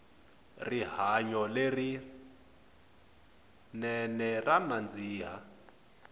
rihanyo le rinene ra nandzika